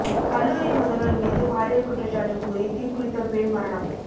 கல்லூரி முதல்வர் மீது பாலியல் குற்றச்சாட்டு கூறி தீக்குளித்த பெண் மரணம்